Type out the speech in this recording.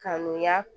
Kanuya